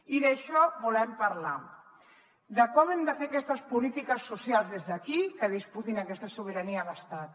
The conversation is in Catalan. i d’això volem parlar de com hem de fer aquestes polítiques socials des d’aquí que disputin aquesta sobirania a l’estat